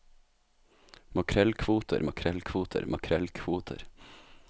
makrellkvoter makrellkvoter makrellkvoter